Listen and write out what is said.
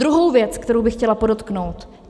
Druhá věc, kterou bych chtěla podotknout.